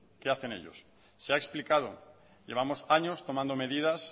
qué hacen ellos se ha explicado llevamos años tomando medidas